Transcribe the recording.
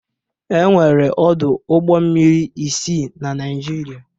Enwere ọdụ ụgbọ mmiri isii na Naịjirịa.